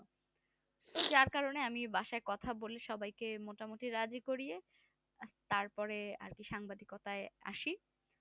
যার কারণে আমি বাসায় কথা বলে সবাই কে মোটামোটি রাজি করিয়ে তার পরে আরকি সাংবাদিকতায় আসি